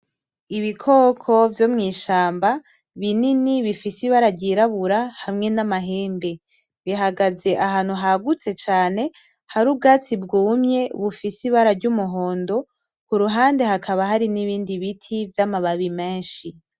Ibikoko vyo mw'ishamba binini bifise ibara ryirabura hamwe n'amahembe. Bihagaze ahantu hagutse cane hari ubwatsi bwumye bufise ibara ry'umuhondo, ku ruhande hakaba hari n'ibindi biti vyamababi menshi.